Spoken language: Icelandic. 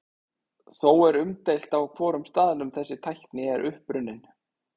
Þó er umdeilt á hvorum staðnum þessi tækni er upprunnin.